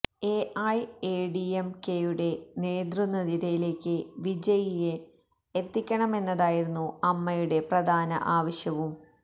A I A D M കെയുടെ നേതൃനിരയിലേയ്ക്കു വിജയിയെ എത്തിക്കണമെന്നതായിരുന്നു അമ്മയുടെ പ്രധാന ആവശ്യവും